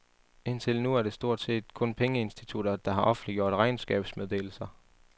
Indtil nu er det stort set kun pengeinstitutter, der har offentliggjort regnskabsmeddelelser.